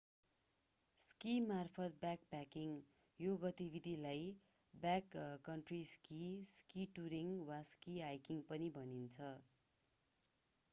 स्कीमार्फत backpacking यो गतिविधिलाई backcountry ski ski touring वा स्की हाइकिङ पनि भनिन्छ